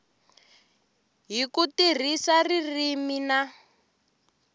hi ku tirhisa ririmi na